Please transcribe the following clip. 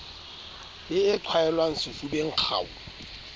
le e qhwaelwang sefubeng kgau